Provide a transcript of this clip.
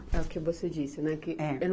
É o que você disse, né, que? É